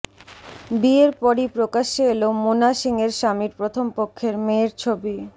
বিয়ের পরই প্রকাশ্যে এল মোনা সিংয়ের স্বামীর প্রথম পক্ষের মেয়ের ছবি